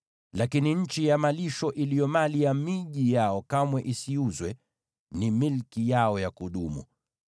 Lakini nchi ya malisho iliyo mali ya miji yao kamwe isiuzwe, ni milki yao ya kudumu.